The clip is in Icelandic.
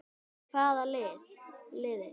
Hvaða liði?